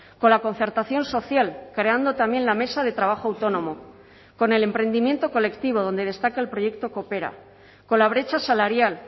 con la concertación social creando también la mesa de trabajo autónomo con el emprendimiento colectivo donde destaca el proyecto coopera con la brecha salarial